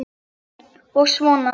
Og vona.